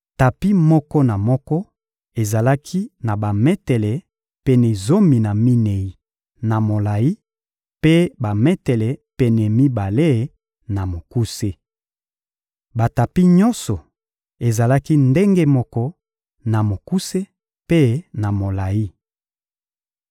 Tapi moko na moko ezalaki na bametele pene zomi na minei na molayi; mpe bametele pene mibale, na mokuse. Batapi nyonso ezalaki ndenge moko na mokuse mpe na molayi.